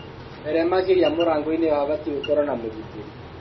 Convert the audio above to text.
Mbere makĩria, mũrangoinĩ habatiĩ gũkorwo na mũgitĩri